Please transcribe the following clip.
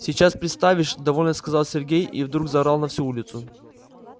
сейчас представишь довольно сказал сергей и вдруг заорал на всю улицу